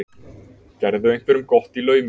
Gerðu einhverjum gott í laumi.